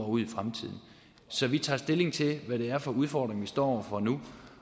ud i fremtiden så vi tager stilling til hvad det er for udfordringer vi står over for nu